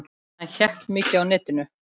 Hann hékk mikið á netinu.